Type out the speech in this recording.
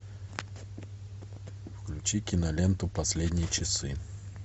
включи киноленту последние часы